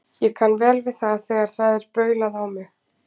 Ég kann vel við það þegar það er baulað á mig.